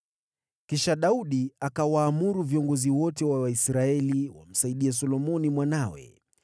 Kisha Daudi akawaamuru viongozi wote wa Israeli wamsaidie Solomoni mwanawe.